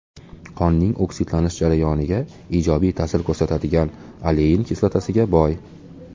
Qonning oksidlanish jarayoniga ijobiy ta’sir ko‘rsatadigan olein kislotasiga boy.